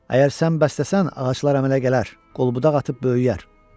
Əgər sən bəsləsən, ağaclar əmələ gələr, qol-budaq atıb böyüyər.